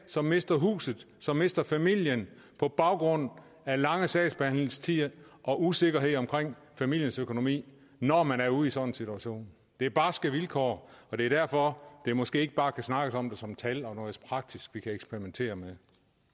som mister huset som mister familien på grund af lange sagsbehandlingstider og usikkerhed omkring familiens økonomi når man er ude i sådan en situation det er barske vilkår og det er derfor der måske ikke bare kan snakkes om det som tal og noget praktisk vi kan eksperimentere med